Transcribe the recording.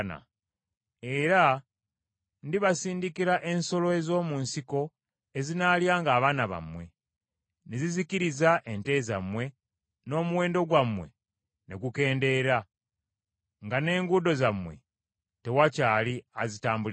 Era ndibasindikira ensolo ez’omu nsiko, ezinaalyanga abaana bammwe, ne zizikiriza ente zammwe n’omuwendo gwammwe ne gukendeera, nga n’enguudo zammwe tewakyali azitambuliramu.